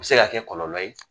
U bɛ se ka kɛ kɔlɔlɔ ye